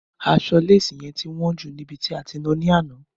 Aṣọ léésì yẹn ti wọn jù níbi tí a ti náa ni àná